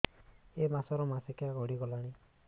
ଏଇ ମାସ ର ମାସିକିଆ ଗଡି ଗଲାଣି